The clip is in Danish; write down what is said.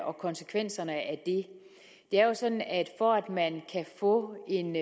og konsekvenserne af det det er jo sådan at for at man kan få en